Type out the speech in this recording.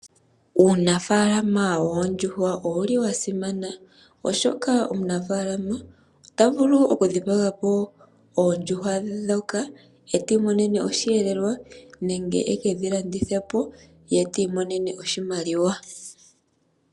Uunafalama woondjuhwa owuli wasimana oshoka omunafalama ota vulu okudhipagapo oondjuhwa dhoka ye ti imonenemo oshihelelwa nenge ekedhilandithepo ye te imonene oshimaliwa.